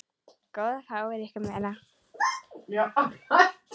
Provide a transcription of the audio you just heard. Góðu fáið ykkur meira.